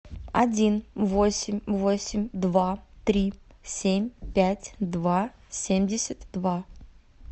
один восемь восемь два три семь пять два семьдесят два